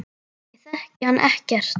Ég þekki hana ekkert.